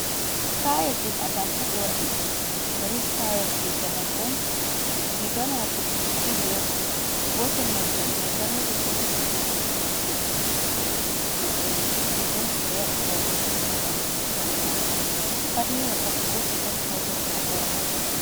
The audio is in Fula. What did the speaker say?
Stayel ɗum atampa ɓe waɗi. Ɗoni stayel je zamanu on. Riga majum ɗiɗi on; gotel mai juɗe mai dammuɗum, gotel mai bo juɗe mai juɗe juɗɗum. Juɗe juɗɗum ɗo be waɗi paune les ha ɓandu kare majum. Pat ni wakkati gotel on hautata ɓorna.